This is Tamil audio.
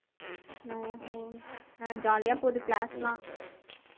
ஓஹோ அஹ் jolly ஆ போகுது class எல்லாம்